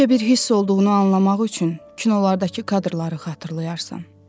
Necə bir hiss olduğunu anlamaq üçün kinolardakı kadrları xatırlayarsan.